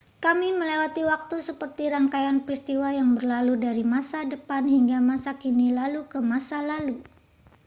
kami melewati waktu seperti rangkaian peristiwa yang berlalu dari masa depan hingga masa kini lalu ke masa lalu